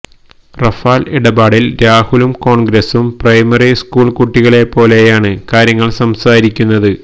Rafale ഇടപാടിൽ രാഹുലും കോൺഗ്രസും പ്രൈമറി സ്കൂൾ കുട്ടികളെപ്പോലെയാണ് കാര്യങ്ങൾ സംസാരിക്കുന്നത്